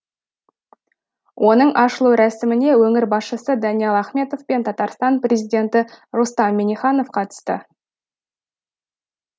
оның ашылу рәсіміне өңір басшысы даниал ахметов пен татарстан президенті рустам минниханов қатысты